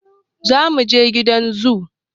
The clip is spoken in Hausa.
Za muje gidan zoo